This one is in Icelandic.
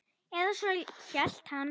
Eða svo hélt hann.